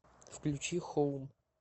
включи хоум